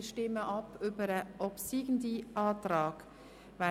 Wir stimmen über diesen obsiegenden Antrag ab.